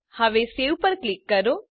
હવે સવે પર ક્લિક કરો